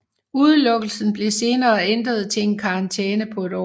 Udelukkelsen blev senere ændret til en karantæne på et år